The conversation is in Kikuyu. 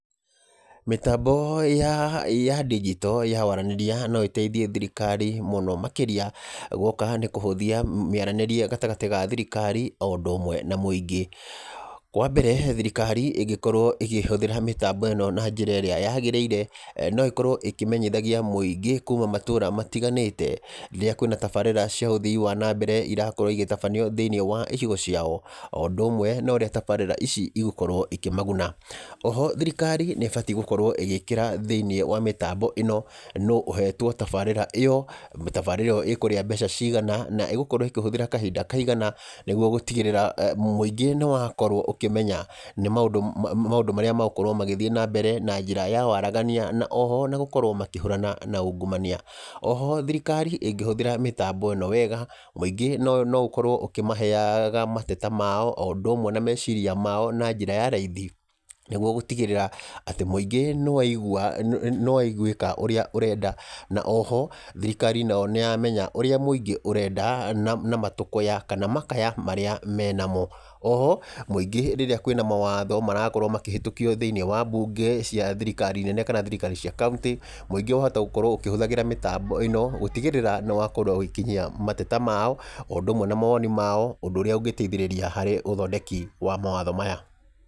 Mĩtambo ya ndinjito ya waranĩria no ĩteithie thirikari mũno makĩrĩa gwoka ni kũhũthia mĩaranĩrie gatagatĩ ka thirikari o ũndũ ũmwe na mũingĩ. Kwa mbere, thirikari ĩngĩkorwo ĩkĩhũthĩra mĩtambo ĩno na njĩra ĩrĩa yagĩrĩire, no ĩkorwo ĩkĩmenyithagia mũingĩ kuma matũra matiganĩte rĩrĩa kwĩna tabarĩra cia uthii wa na mbere irakorwo igĩtabanio thĩ-inĩ wa icigo ciao, o ũndũ ũmwe na ũrĩa tabarĩra ici igũkorwo ikĩmaguna. Oho thirikari nĩĩbatiĩ gũkorwo ĩgĩkĩra thĩ-inĩ wa mĩtambo ĩno nũ ũhetwo tabarĩra ĩyo, mĩtabarĩre ĩyo ĩkũrĩa mbeca cigana na ĩgũkorwo ĩkĩhũthĩra kahinda kaigana atĩa, nĩguo gũtigĩrĩra mũingĩ nĩ wakorwo ũkĩmenya maũndũ marĩa megũkorwo magĩthiĩ na mbere na njĩra ya waragania na oho ona gũkorwo makĩhũrana na ungumania. Oho, thirikari ĩngĩhũthĩra mĩtambo ĩno wega, mũingĩ no ũkorwo ũkĩmaheaga mateta mao o ũndũ umwe na meciria mao na njĩra ya raithi nĩguo gũtigĩrĩra atĩ mũingĩ nĩ waigwĩka ũrĩa ũrenda, na oho thirikari nayo nĩ yamenya ũrĩa mũingĩ ũrenda na matũkũya kana makaya marĩa me namo. Oho, mũingĩ rĩrĩa kwĩna mawatho marakorwo makĩhĩtũkio thĩ-inĩ wa mbunge cia thirikari nene kana thirikari cia kaũntĩ, mũingĩ wahota gũkoragwo ũkĩhũthagĩra mĩtambo ĩno gũtigĩrĩra nĩ wakorwo ũgĩkinyia mateta mao, o ũndũ ũmwe na mawoni mao ũndũ ũrĩa ũngĩteithĩrĩria harĩ ũthondeki wa mawatho maya.